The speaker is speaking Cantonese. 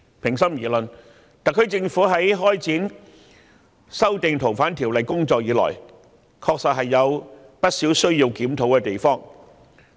平心而論，特區政府自開展修訂《逃犯條例》的工作以來，確實有不少需要檢討的地方。